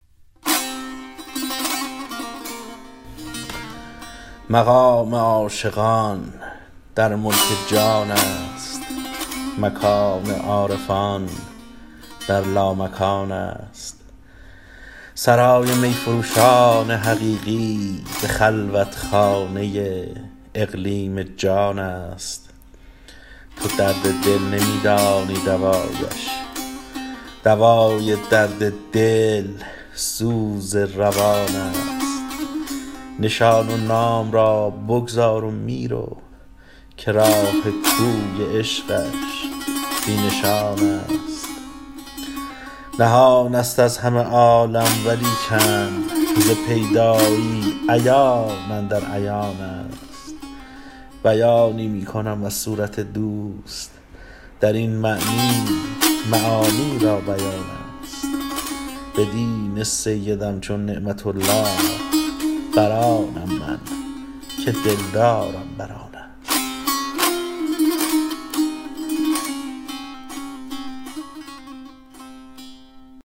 مقام عاشقان در ملک جان است مکان عارفان در لامکان است سرای می فروشان حقیقی به خلوت خانه اقلیم جان است تو درد دل نمی دانی دوایش دوای درد دل سوز روان است نشان و نام را بگذار و می رو که راه کوی عشقش بی نشان است نهان است از همه عالم ولیکن ز پیدایی عیان اندر عیان است بیانی می کنم از صورت دوست در این معنی معانی را بیان است به دین سیدم چون نعمت الله برآنم من که دلدارم بر آن است